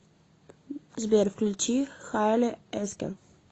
сбер включи хайли эскер